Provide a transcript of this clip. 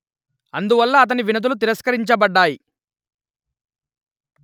అందువల్ల అతని వినతులు తిరస్కరించబడ్డాయి